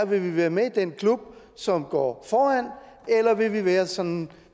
vi vil være med i den klub som går foran eller vi vil være sådan